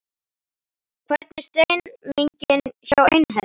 Hvernig er stemningin hjá Einherja?